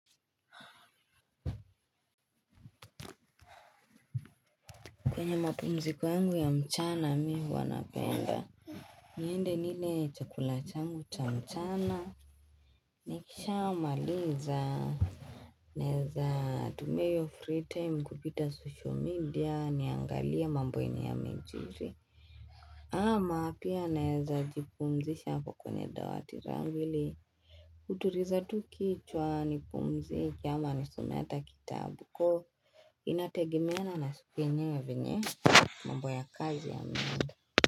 Kwenye mapumziko yangu ya mchana mimi huwa napenda niende nile chakula changu cha mchana. Nikisha maliza, naweza tumia hio free time kupita social media niangalie mambo yenye yamejiri. Ama pia naweza jipumzisha hapo kwenye dawati langu. Kutuliza tu kichwa nipumzike ama nisome hata kitabu inategemeana na siku yenyewe vyenye mambo ya kazi yameenda.